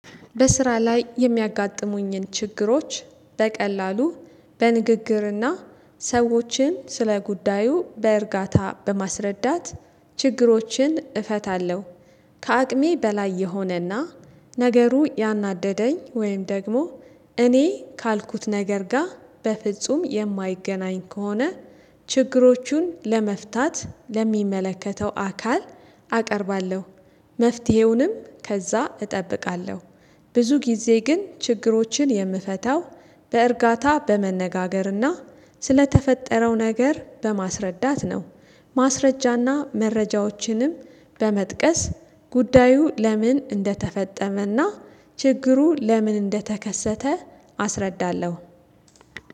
በስራ ላይ የሚያጋጥሙኝን ችግሮች በቀላሉ በንግግርና ሰዎችን ስለ ጉዳዩ በእርጋታ በማስረዳት ችግሮችን እፈታለሁ። ከአቅሜ በላይ የሆነና ነገሩ ያናደደኝ ወይም ደግሞ እኔ ካልኩት ነገር ጋር በፍጹም የማይገናኝ ከሆነ ችግሮቹን ለመፍታት ለሚመለከተው አካል አቀርባለሁ። መፍትሄውንም ከዛ እጠብቃለሁ። ብዙ ጊዜ ግን ችግሮችን የምፈታው በእርጋታ በመነጋገርና ስለተፈጠረው ነገር በማስረዳት ነው። ማስረጃና መረጃዎችንም በመጥቀስ ጉዳዩ ለምን እንደተፈጠመና ችግሩ ለምን እንደተከሰተ አስረዳለሁ።